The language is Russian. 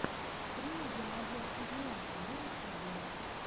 стрим геннадия кузьменко на ютубе